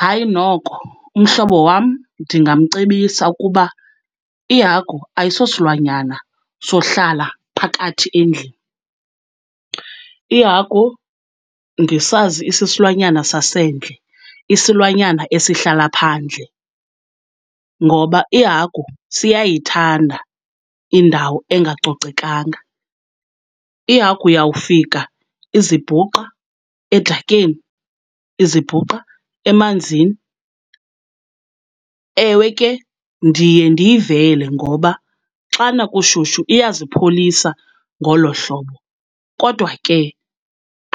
Hayi noko umhlobo wam ndingamcebisa ukuba ihagu ayisosilwanyana sohlala phakathi endlini. Ihagu ndisazi isisilwanyana sasendle, isilwanyana esihlala phandle, ngoba ihagu siyayithanda indawo engacocekanga. Ihagu uyawufika izibhuqa edakeni, izibhuqa emanzini. Ewe ke ndiye ndiyivele ngoba xana kushushu iyazipholisa ngolo hlobo, kodwa ke